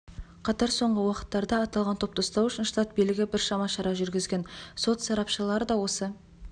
қатар соңғы уақыттарда аталған топты ұстау үшін штат билігі біршама шара жүргізген сот сарапшылары осы